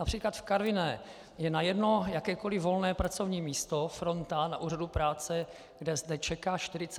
Například v Karviné je na jedno jakékoli volné pracovní místo fronta na úřadu práce, kde zde čeká 41 uchazečů.